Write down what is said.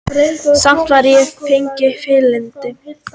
Samt var ég fegin fylgdinni.